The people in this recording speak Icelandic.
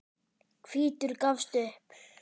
Hvítur gafst upp.